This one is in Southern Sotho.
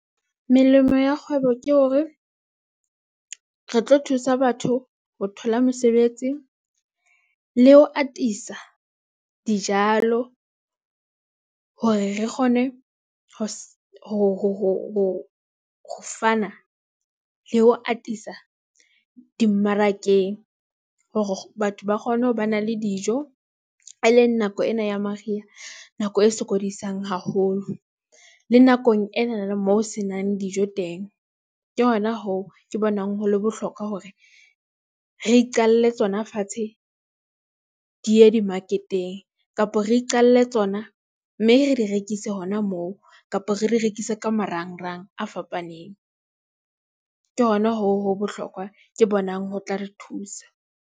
Melemo ya kgwebo ke hore re tlo thusa batho ho thola mesebetsi, le ho atisa dijalo hore re kgone ho ho, ho, ho, ho fana le ho atisa dimmarakeng hore batho ba kgone ho ba na le dijo e leng nako ena ya mariha. Nako e sokodisang haholo, le nakong enana moo ho se nang dijo teng. Ke hona hoo ke bonang ho le bohlokwa hore re iqalle tsona fatshe. Di ye di-market-eng, kapo re iqalle tsona, mme re di rekise hona moo kapo re di rekise ka marangrang a fapaneng. Ke hona hoo ho bohlokwa ke bonang ho tla re thusa.